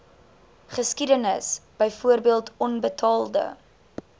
geskiedenis byvoorbeeld onbetaalde